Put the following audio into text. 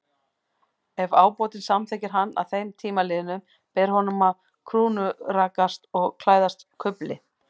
Ef ábótinn samþykkir hann að þeim tíma liðnum, ber honum að krúnurakast og klæðast kufli.